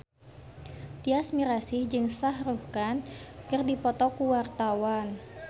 Tyas Mirasih jeung Shah Rukh Khan keur dipoto ku wartawan